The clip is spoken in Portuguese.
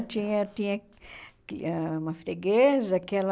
Eu tinha tinha que ãh uma freguesa, que ela...